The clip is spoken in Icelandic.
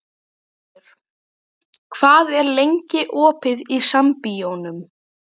Erlendur, hvað er lengi opið í Sambíóunum?